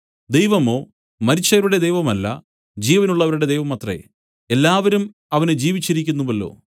ദൈവമോ മരിച്ചവരുടെ ദൈവമല്ല ജീവനുള്ളവരുടെ ദൈവമത്രേ എല്ലാവരും അവന് ജീവിച്ചിരിക്കുന്നുവല്ലോ